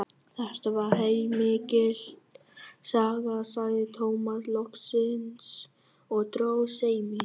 Þetta var heilmikil saga, sagði Tómas loksins og dró seiminn.